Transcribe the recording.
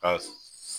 Ka